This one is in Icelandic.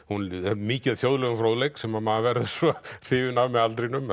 mikið af þjóðlegum fróðleik sem að maður verður svo hrifinn af með aldrinum